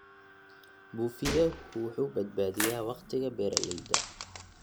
Buufiyehu wuxuu badbaadiyaa wakhtiga beeralayda.